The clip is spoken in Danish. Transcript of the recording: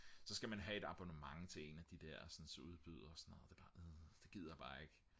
så skal man have et abonnement til en af de der udbydere det er bare det gider jeg bare ikke